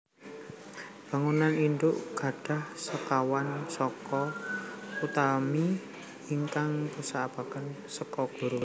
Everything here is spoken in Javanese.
Bangunan indhuk gadhah sekawan saka utami ingkang dipunsebat saka guru